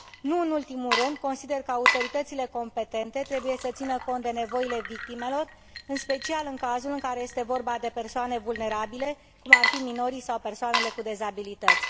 Nu în ultimul rând, consider că autoritățile competente trebuie să țină cont de nevoile victimelor, în special în cazul în care este vorba de persoane vulnerabile, cum ar fi minorii sau persoanele cu dizabilități.